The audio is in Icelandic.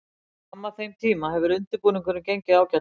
Fram að þeim tíma hefur undirbúningurinn gengið ágætlega.